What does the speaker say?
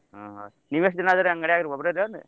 ಹಾ ನೀವೆಷ್ಟ್ ಜನ ಇದೀರಿ ಅಂಗ್ಡ್ಯಾಗ್ರಿ ಒಬ್ಬರೆ .